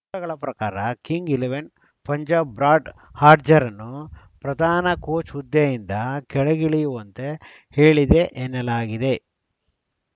ಮೂಲಗಳ ಪ್ರಕಾರ Kings Eleven Punjab Brad ಹಾಡ್ಜ್‌ರನ್ನು ಪ್ರಧಾನ ಕೋಚ್‌ ಹುದ್ದೆಯಿಂದ ಕೆಳಗಿಳಿಯುವಂತೆ ಹೇಳಿದೆ ಎನ್ನಲಾಗಿದೆ